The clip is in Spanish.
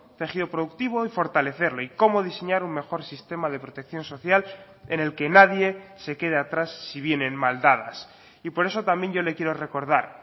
tejido productivo y fortalecerlo y cómo diseñar un mejor sistema de protección social en el que nadie se quede atrás si vienen mal dadas y por eso también yo le quiero recordar